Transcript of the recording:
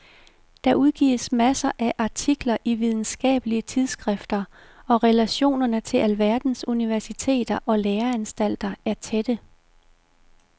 Der udgives masser af artikler i videnskabelige tidsskrifter og relationerne til alverdens universiteter og læreanstalter er tætte.